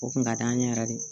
O kun ka d'an ye yɛrɛ de